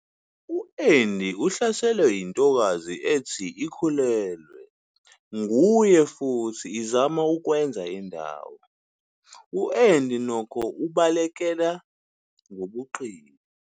U-Andy uhlaselwe yintokazi ethi ikhulelwe nguye futhi izama ukwenza indawo, U-Andy nokho ubalekela ngobuqili.